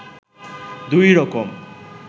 দুই রকম